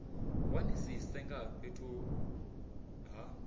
wanisise nga ha fhethu ha